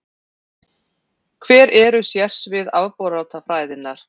Hver eru sérsvið afbrotafræðinnar?